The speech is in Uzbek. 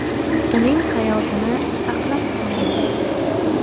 Uning hayotini saqlab qolaylik!.